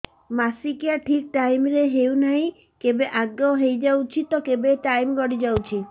ମାସିକିଆ ଠିକ ଟାଇମ ରେ ହେଉନାହଁ କେବେ ଆଗେ ହେଇଯାଉଛି ତ କେବେ ଟାଇମ ଗଡି ଯାଉଛି